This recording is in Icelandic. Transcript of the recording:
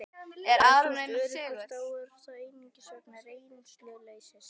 Ef þú ert óöruggur þá er það einungis vegna reynsluleysis.